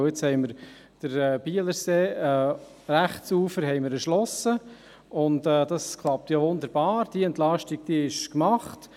Jetzt haben wir das rechte Bielerseeufer erschlossen, und das klappt wunderbar, diese Entlastung ist gemacht.